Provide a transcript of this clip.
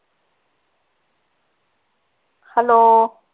hello